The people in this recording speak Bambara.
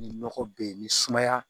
Ni nɔgɔ be yen ni sumaya